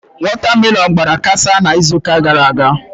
Watermelon gbara kasaa n'izuụka gara aga.